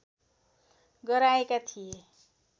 गराएका थिए